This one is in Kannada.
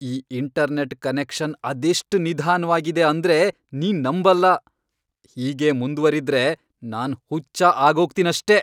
ಈ ಇಂಟರ್ನೆಟ್ ಕನೆಕ್ಷನ್ ಅದೆಷ್ಟ್ ನಿಧಾನ್ವಾಗಿದೆ ಅಂದ್ರೆ ನೀನ್ ನಂಬಲ್ಲ. ಹೀಗೇ ಮುಂದ್ವರಿದ್ರೆ ನಾನ್ ಹುಚ್ಚ ಆಗೋಗ್ತೀನಷ್ಟೇ!